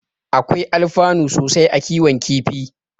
Akwai alfanu sosai a kiwon kifi.